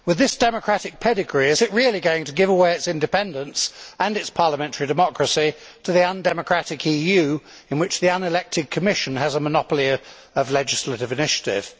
With this democratic pedigree, is it really going to give away its independence and its parliamentary democracy to the undemocratic EU, in which the unelected Commission has a monopoly of legislative initiative?